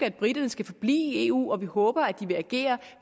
at briterne skal forblive i eu og vi håber at de vil agere